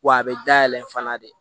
Wa a bɛ dayɛlɛ fana de